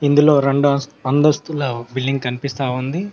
ఇందులో రెండు అం అంతస్తుల బిల్డింగ్ కనిపిస్తా ఉంది.